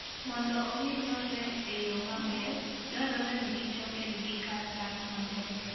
Mondo omi nyuolre, nyuolre e yo maber, dwarore ni kichobed gi kar dak maber.